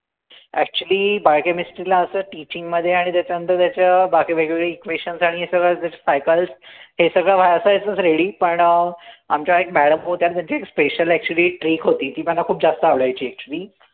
actually Biochemistry ला असं teaching मध्ये आणि त्याच्या नंतर त्याच बाकी वेगवेगळे equitations आणि हे सगळे हे सगळं ready पण अं आमच्या एक madam होत्या त्यांची special actually एक trick होती ती मला खूप जास्त आवडायची